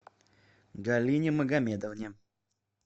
галине магомедовне